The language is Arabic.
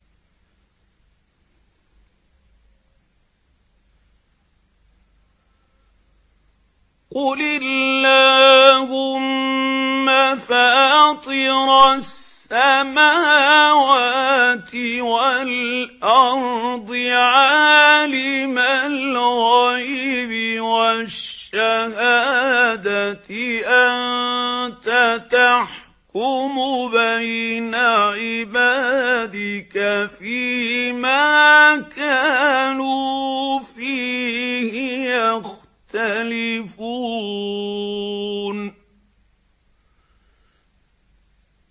قُلِ اللَّهُمَّ فَاطِرَ السَّمَاوَاتِ وَالْأَرْضِ عَالِمَ الْغَيْبِ وَالشَّهَادَةِ أَنتَ تَحْكُمُ بَيْنَ عِبَادِكَ فِي مَا كَانُوا فِيهِ يَخْتَلِفُونَ